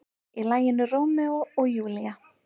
Í laginu Rómeó og Júlía.